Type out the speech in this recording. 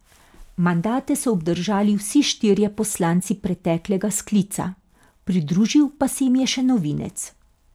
Mandate so obdržali vsi štirje poslanci preteklega sklica, pridružil pa se jim je še novinec.